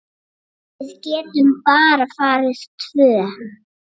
Við getum bara farið tvö.